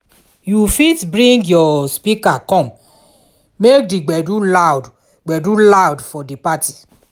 you fit bring your speaker come make di gbedu loud gbedu loud for di party